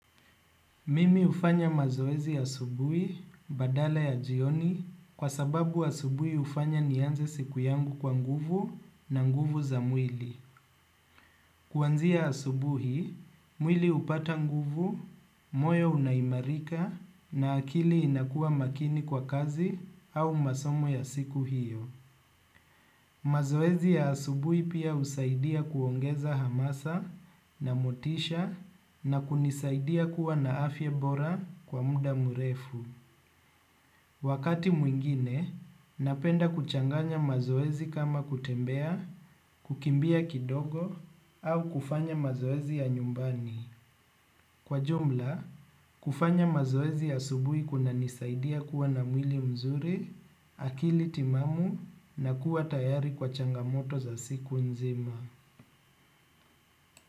Mimi hufanya mazoezi asubuhi, badala ya jioni, kwa sababu asubuhi hufanya nianze siku yangu kwa nguvu na nguvu za mwili. Kuanzia asubuhi, mwili hupata nguvu, moyo unaimarika na akili inakua makini kwa kazi au masomo ya siku hiyo. Mazoezi ya asubui pia husaidia kuongeza hamasa na motisha na kunisaidia kuwa na afya bora kwa muda mrefu. Wakati mwingine, napenda kuchanganya mazoezi kama kutembea, kukimbia kidogo au kufanya mazoezi ya nyumbani. Kwa jumla, kufanya mazoezi asubuhi kunanisaidia kuwa na mwili mzuri, akili timamu na kuwa tayari kwa changamoto za siku nzima.